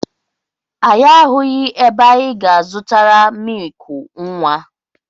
Anyị ahụghị ebe anyị ga-zụtara mịịkụ nwa.